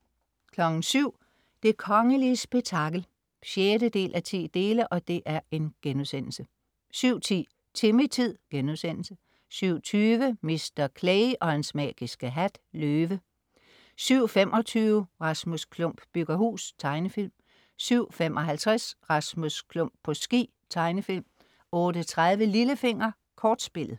07.00 Det kongelige spektakel 6:10* 07.10 Timmy-tid* 07.20 Mr. Clay og hans magiske hat. Løve 07.25 Rasmus Klump bygger hus. Tegnefilm 07.55 Rasmus Klump på ski. Tegnefilm 08.30 Lillefinger. Kortspillet